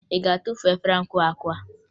Ị ga-atufu efere ahụ kụwara akụwa?